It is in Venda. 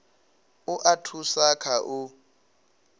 u a thusa kha u